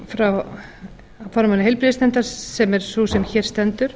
frá formanni heilbrigðisnefndar sem er sú sem hér stendur